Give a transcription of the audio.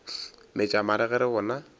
metša mare ge re bona